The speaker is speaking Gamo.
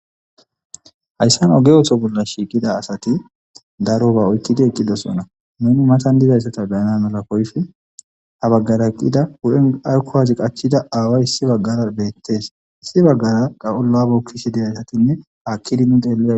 hayssan oge ootho bolla shiiqida asati daro ba oytidi eqqidosona meni matan dizayssata bayana mala koyfi ha baggara qida hu'en arkowazi qachchida aaway issi baggara beettees. issi baggara qaqolabo kishi deyaysatinne haakkidinu xelle